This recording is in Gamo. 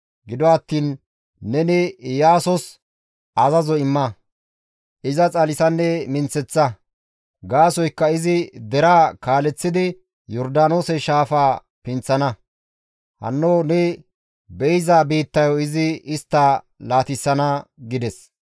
Gido attiin neni Iyaasos azazo imma; iza xalisanne minththeththa; gaasoykka izi deraa kaaleththidi Yordaanoose shaafaa pinththana; hanno ne be7iza biittayo izi istta laatissana» gides.